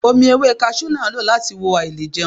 Omi ewé kaṣú ni a lò láti wo àìlèjẹun.